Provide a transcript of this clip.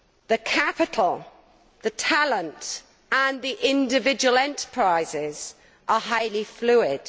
The capital, the talent and the individual enterprises are highly fluid.